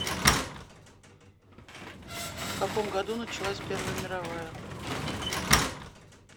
в каком году началась первая мировая